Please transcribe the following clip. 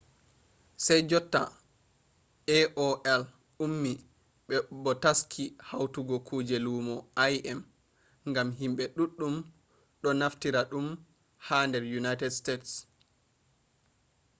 sai jotta aol ummi bo taski hautugo kuje lumo im gam himɓe ɗuɗɗum ɗo naftira ɗum ha nder unaited stets